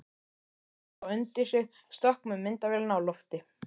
Tók þá undir sig stökk með myndavélina á lofti.